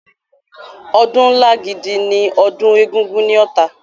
Ọdún ńlá gidi ni ọdún Egúngún ní Ọ̀tà.